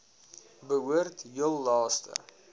behoort heel laaste